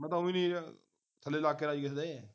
ਮੈਂ ਤੇ ਉਹ ਵੀ ਨਹੀਂ ਯਾਰ ਥੱਲੇ ਲੱਗ ਕੇ ਰਾਜ਼ੀ ਕਿਸੇ ਦੇ